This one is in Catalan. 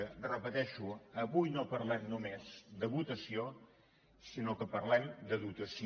ho repeteixo avui no parlem només de votació sinó que parlem de dotació